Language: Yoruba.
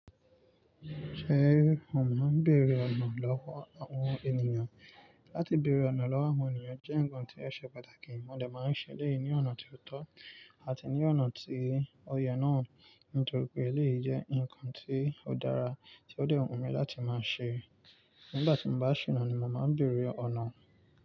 Ṣé o máa ń bèrè ọ̀nà lọ́wọ́ àwọn ènìyàn? Láti bèrè ọ̀nà lọ́wọ́ àwọn ènìyàn jẹ́ nǹkan tí ó ṣe pàtàkì, mo de máa ń ṣe léyìí ní ọ̀nà tí ó tọ́ àti ní ọ̀nà tí ó yẹ náà. Nítorí pé eléyìí jẹ́ ǹkan tí ó dára tí ó dẹ́ wùn mi láti máa ṣe. Nígbà tí mo bá ṣìná ni mo máa ń bèrè ọ̀nà.